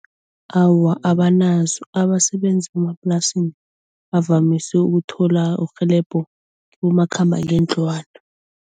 Awa abanazo abasebenzi bemaplasini bavamise ukuthola urhelebho kibomakhambangendlwana.